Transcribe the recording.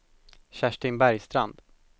Kerstin Bergstrand